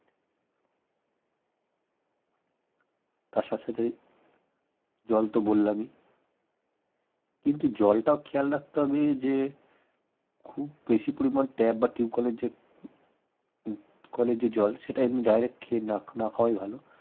তার সাথে সাথে জল তো বললামই কিন্তু জলটাও খেল রাখতে হবে যে খুব বেশি পরিমান tab বা টিবকলে যে উম কলের যে কলের যে জল সেটা এমনি direct খেয়ে না খাওয়াই ভাল